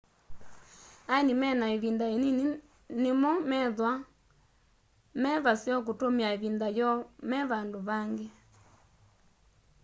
aeni mena ivinda inini nimo methwa me vaseo kutumia ivinda yoo me vandu vangi